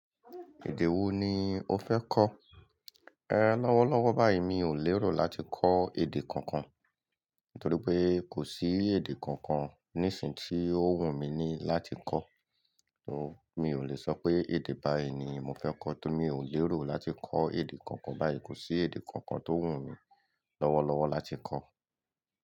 Èdè wo ni o fẹ́ kọ́? Lọ́wọ́lọ́wọ́ báyìí mi ò lérò láti kọ́ èdè kankan, nítorí pé kò sí èdè kankan nísinyìí tí ó wù mí ní láti kọ́. Ní o, mi ò lè sọ pé èdè báyìí ni mo fẹ́ kọ́ torí mi ò lérò láti kọ́ èdè kokan. Báyìí kò sí èdè kankan tó wù mí lọ́wọ́lọ́wọ́ láti kọ́.